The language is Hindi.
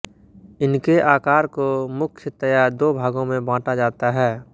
इनके आकार को मुख्यतया दो भागों में बाँटा जाता है